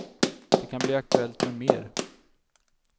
Det kan bli aktuellt med mer.